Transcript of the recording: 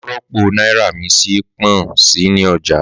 Màá rọ́pò náírà mi sí pọ́n-si ní ọjà